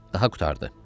Daha qurtardı.